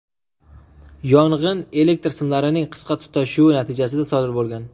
Yong‘in elektr simlarining qisqa tutashuvi natijasida sodir bo‘lgan.